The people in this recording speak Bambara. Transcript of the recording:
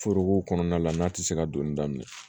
Foroko kɔnɔna la n'a tɛ se ka donni daminɛ